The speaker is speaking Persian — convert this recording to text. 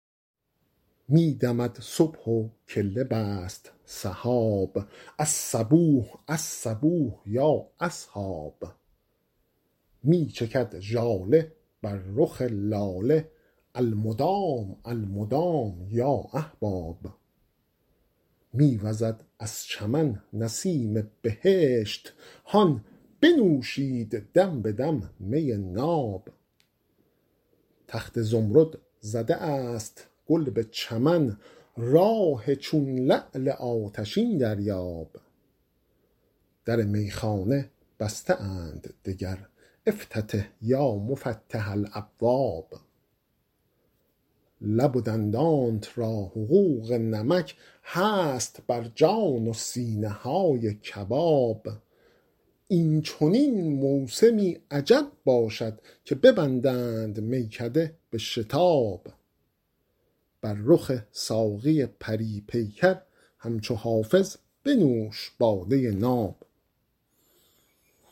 می دمد صبح و کله بست سحاب الصبوح الصبوح یا اصحاب می چکد ژاله بر رخ لاله المدام المدام یا احباب می وزد از چمن نسیم بهشت هان بنوشید دم به دم می ناب تخت زمرد زده است گل به چمن راح چون لعل آتشین دریاب در میخانه بسته اند دگر افتتح یا مفتح الابواب لب و دندانت را حقوق نمک هست بر جان و سینه های کباب این چنین موسمی عجب باشد که ببندند میکده به شتاب بر رخ ساقی پری پیکر همچو حافظ بنوش باده ناب